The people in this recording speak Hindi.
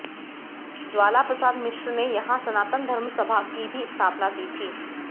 ज्वाला प्रसाद मिश्र ने यहाँ सनातन धर्म सभा की भी स्थापना की थी